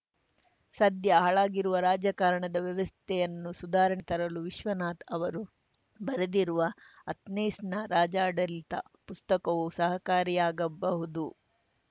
ಸದ್ಯ ಹಾಳಾಗಿರುವ ರಾಜಕಾರಣದ ವ್ಯವಸ್ಥೆಯನ್ನು ಸುಧಾರಣೆಗೆ ತರಲು ವಿಶ್ವನಾಥ್‌ ಅವರು ಬರೆದಿರುವ ಅಥೆನ್ಸ್‌ನ ರಾಜ್ಯಾಡಳಿತ ಪುಸ್ತಕವು ಸಹಕಾರಿಯಾಗಬಹುದು